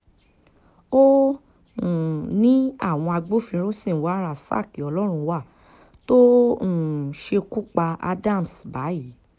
ó um ní àwọn agbófinró ṣì ń wá rasaq ọlọ́runwá tó um ṣekú pa adams báyìí